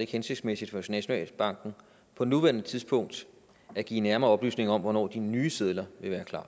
ikke hensigtsmæssigt for nationalbanken på nuværende tidspunkt at give nærmere oplysninger om hvornår de nye sedler vil være klar